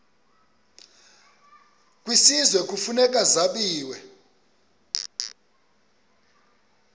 kwisizwe kufuneka zabiwe